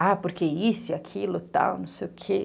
Ah, porque isso e aquilo, tal, não sei o quê.